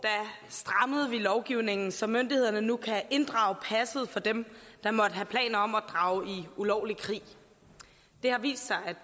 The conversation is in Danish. strammede vi lovgivningen så myndighederne nu kan inddrage passet fra dem der måtte have planer om at drage i ulovlig krig det har vist sig